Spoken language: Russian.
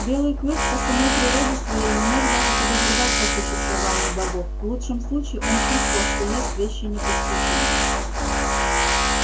белый клык по самой природе своей не мог даже подозревать о существовании богов в лучшем случае он чувствовал что есть вещи непостижимые